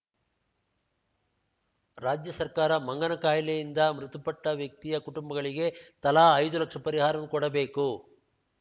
ರಾಜ್ಯ ಸರ್ಕಾರ ಮಂಗನ ಕಾಯಿಲೆಯಿಂದ ಮೃತಪಟ್ಟವ್ಯಕ್ತಿಯ ಕುಟುಂಬಗಳಿಗೆ ತಲಾ ಐದು ಲಕ್ಷ ಪರಿಹಾರವನ್ನು ಕೊಡಬೇಕು